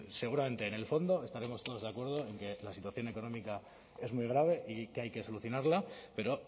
seguramente en el fondo estaremos todos de acuerdo en que la situación económica es muy grave y que hay que solucionarla pero